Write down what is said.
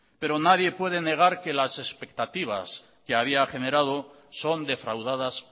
pero nadie puede negar que las expectativas que había generado son defraudadas